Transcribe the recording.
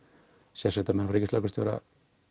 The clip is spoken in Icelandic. sérsveitarmenn frá ríkislögreglustjóra